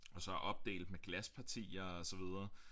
Og så er opdelt med glaspartier og så videre